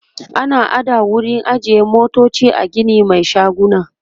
ana ada wurin ajiye motoci a Gini Mai shaguna